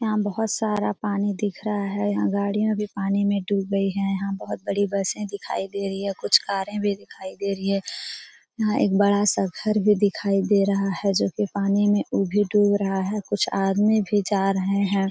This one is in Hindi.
यहाँ बहोत सारा पानी दिख रहा है। यहाँ गाड़िया भी पानी में डूब गई है। यहाँ बहोत बड़ी बसे दिखाई दे रही हैं। कुछ कारे भी दिखाई दे रही हैं यहाँ एक बड़ा सा घर भी दिखाई दे रहा है जो की पानी में उ भी डूब रहा है। कुछ आदमी भी जा रहे हैं।